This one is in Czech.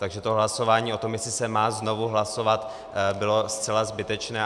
Takže to hlasování o tom, jestli se má znovu hlasovat, bylo zcela zbytečné.